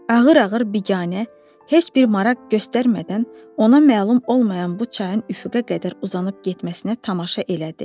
Ağır-ağır, biganə, heç bir maraq göstərmədən, ona məlum olmayan bu çayın üfüqə qədər uzanıb getməsinə tamaşa elədi.